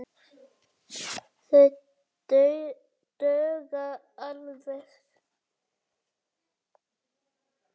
Það dugar alveg.